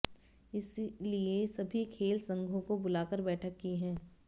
इसीलिए सभी खेल संघो को बुलाकर बैठक की है